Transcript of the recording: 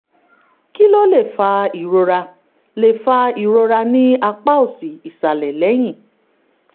kí ló lè fa ìrora lè fa ìrora ní apá òsì ìsàlẹ̀ lẹ́yìn?